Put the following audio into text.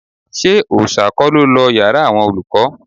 Ṣé Òòṣà kọ́ ló lọ yàrá àwọn olùkọ́